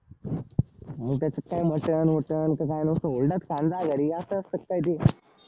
मग त्याच्यात काय मटण वटण तर काय नुसतं हुरडाच खायला जा घरी असं असत काय ते?